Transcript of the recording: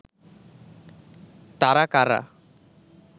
তারা কারা